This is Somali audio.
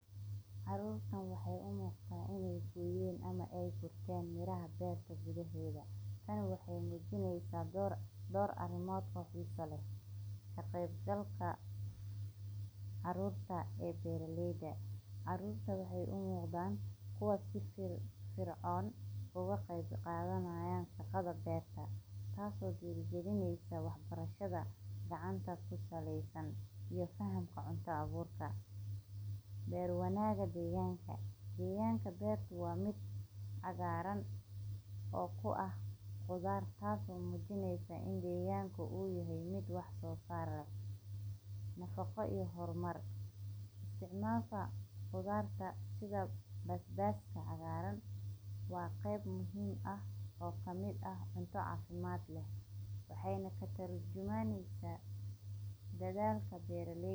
Basaasha waa midhaha cagaaran ee lagu dhadhan qurux badan, kaas oo leh macaan iyo qadhaadh isku dhafan, taas oo ka dhigaysa midh aad u macaan oo lagu daro cuntada nooc walba, sida saliidda, baasta, bariis, iyo maraqyada, waxaana laga helaa faa'iidooyin badan oo caafimaad, sida inay korodhsiiso neefsashada, yareeyo kansarka, ka caawiyo xanuunka caloosha, siinayo tamar, yareeyo miirka dhiigga, joojinayo xanuunka wadnaha, ilaalinayo indhaha, kor u qaadista unugyada difaaca